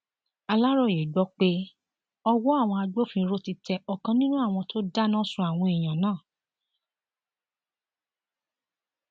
aláròye gbọ pé ọwọ àwọn agbófinró ti tẹ ọkan nínú àwọn tó dáná sun àwọn èèyàn náà